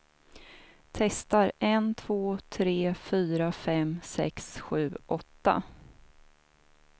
Testar en två tre fyra fem sex sju åtta.